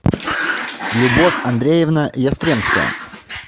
любовь андреевна ястремская